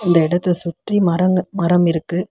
இந்த எடத்த சுற்றி மரங்க மரம் இருக்கு.